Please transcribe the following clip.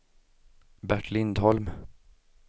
Bert Lindholm